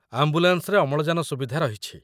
ଆମ୍ବୁଲାନ୍ସରେ ଅମ୍ଳଜାନ ସୁବିଧା ରହିଛି।